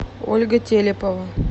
ольга телепова